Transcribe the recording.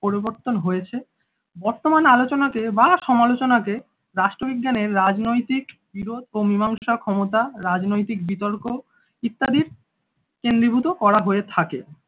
পরিবর্তন হয়েছে বর্তমান আলোচনাতে বা সমালোচনাতে রাষ্ট্রবিজ্ঞানের রাজনৈতিক বিরোধ ও মীমাংসা ক্ষমতা রাজনৈতিক বিতর্ক ইত্যাদি কেন্দ্রীভূত করা হয়ে থাকে।